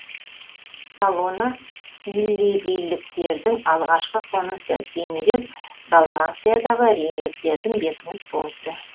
салона иллирийліктердің алғашқы қонысы кейінірек далмациядағы римдіктердің бекініс пункті